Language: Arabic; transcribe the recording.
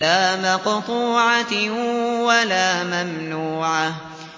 لَّا مَقْطُوعَةٍ وَلَا مَمْنُوعَةٍ